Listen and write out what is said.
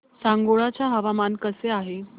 सांगोळा चं हवामान कसं आहे